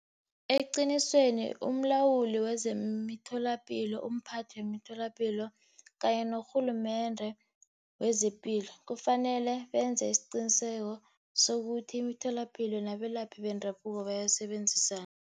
Eqinisweni, umlawuli wezemitholapilo, umphathi wemitholapilo unye norhulumende wezepilo kufanele benze isiqiniseko sokuthi imitholapilo nabelaphi bendabuko bayasebenzisana.